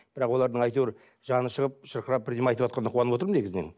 бірақ олардың әйтеуір жаны шығып шырқырап бірдеңе айтып отқанына қуанып отырмын негізінен